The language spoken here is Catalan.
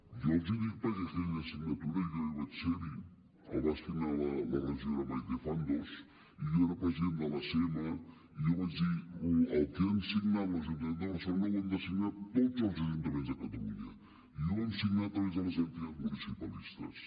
i jo els hi dic perquè en aquella signatura jo vaig ser hi ho va signar la regidora maite fandos i jo era president de l’acm i jo vaig dir el que ha signat l’ajuntament de barcelona ho hem de signar tots els ajuntaments de catalunya i ho vam signar a través de les entitats municipalistes